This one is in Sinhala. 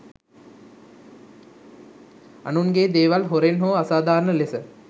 අනුන්ගේ දේවල් හොරෙන් හෝ අසාධාරණ ලෙස